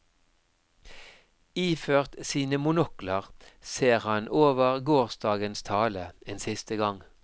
Iført sine monokler ser han over gårsdagens tale en siste gang.